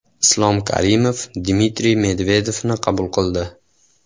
Islom Karimov Dmitriy Medvedevni qabul qildi.